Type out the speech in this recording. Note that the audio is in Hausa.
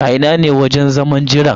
A ina ne wajen zaman jiran?